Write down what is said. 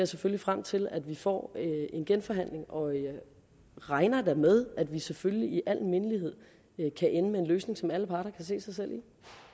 selvfølgelig frem til at vi får en genforhandling og jeg regner da med at vi selvfølgelig i al mindelighed kan ende med en løsning som alle parter kan se sig selv